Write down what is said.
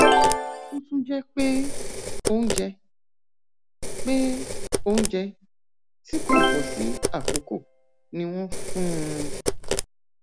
ó tún jẹ pé oúnjẹ pé oúnjẹ tí kò bọ sí àkókò ni wọn fún un